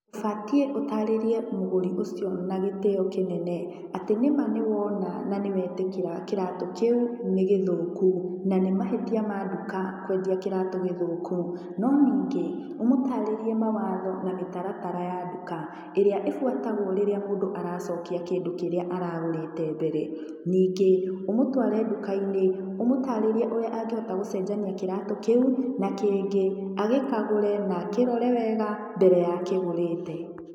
Ũbatiĩ ũtarĩrie mũgũri ũcio na gĩtĩo kĩnene, atĩ nĩ ma nĩ wona na wetĩkĩra kĩratũ kĩu nĩgĩthũku, na nĩ mahĩtia ma nduka kwendia kĩratũ gĩthũku. No ningĩ, ũmũtarĩrie mawatho na mĩtaratara ya nduka, ĩrĩa ĩbuatagwo rĩrĩa mũndũ aracokia kĩndũ kĩrĩa aragũrĩte mbere. Ningĩ, ũmũtware nduka-inĩ, ũmũtarĩrie ũrĩa angĩhota gũcenjania kĩratũ kĩu na kĩngĩ, agĩkagũre na akĩrore wega mbere ya akĩgũrĩte.